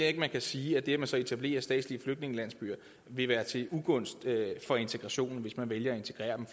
ikke man kan sige at det at man så etablerer statslige flygtningelandsbyer vil være til ugunst for integrationen hvis man vælger at integrere dem